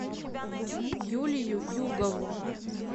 юлию югову